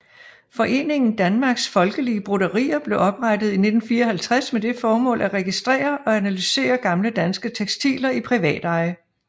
Foreningen Danmarks Folkelige Broderier blev oprettet i 1954 med det formål at registrere og analysere gamle danske tekstiler i privateje